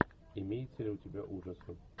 имеется ли у тебя ужасы